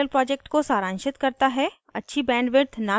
यह spoken tutorial project को सारांशित करता है